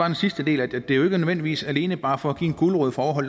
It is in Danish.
den sidste del af det det er nødvendigvis alene bare for at give en gulerod for at